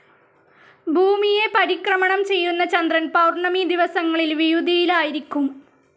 ഭൂമിയെ പരിക്രമണം ചെയ്യുന്ന ചന്ദ്രൻ പൗർണ്ണമി ദിവസങ്ങളിൽ വിയുതിയിലായിരിക്കും.